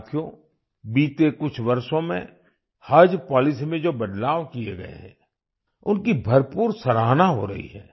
साथियो बीते कुछ वर्षों में हज पॉलिसी में जो बदलाव किए गए हैं उनकी भरपूर सराहना हो रही है